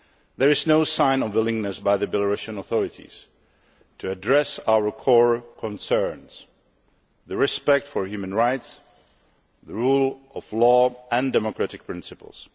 There is no sign of willingness by the Belarusian authorities to address our core concerns respect for human rights, the rule of law and democratic principles.